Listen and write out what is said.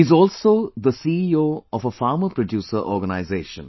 He is also the CEO of a farmer producer organization